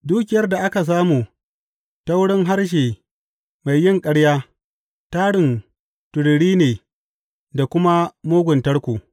Dukiyar da aka samu ta wurin harshe mai yin ƙarya tarin tururi ne da kuma mugun tarko.